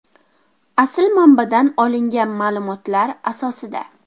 Asl manbadan olingan ma’lumotlar asosida.